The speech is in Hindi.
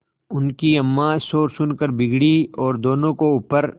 उनकी अम्मां शोर सुनकर बिगड़ी और दोनों को ऊपर